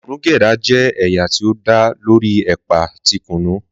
Kunu Gyada jẹ́ ẹ̀yà tí ó dá lórí ẹ̀pà ti kùnú.